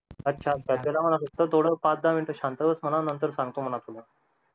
अच्छा अच्छा त्याला म्हणा फक्त थोडं पाच दहा मिनटं शांत बस म्हणा नंतर सांगतो म्हणा तुला